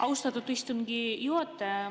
Austatud istungi juhataja!